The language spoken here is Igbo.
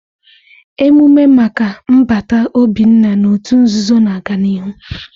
Emume maka nbata Obinna n'òtù nzuzo na-aga n'ihu.